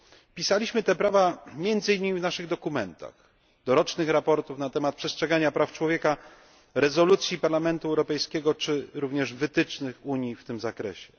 Pisaliśmy o tych prawach między innymi w naszych dokumentach, dorocznych sprawozdaniach na temat przestrzegania praw człowieka, rezolucjach Parlamentu Europejskiego, czy również w wytycznych Unii w tym zakresie.